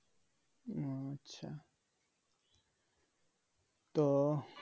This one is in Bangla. আচ্ছা তো